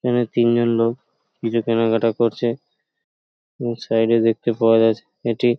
এখানে তিনজন লোক কিছু কেনাকাটা করছে এবং সাইডে দেখতে পাওয়া যাচ্ছে এটি --